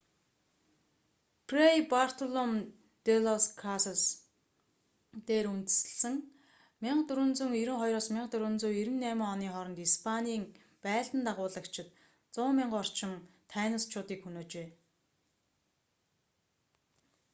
фрэй бартолом-дэ-лас-касас тратадо-дэ-лас-индиас дээр үндэслэн 1492-1498 оны хооронд испанийн байлдан дагуулагчид 100,000 орчим тайносчуудыг хөнөөжээ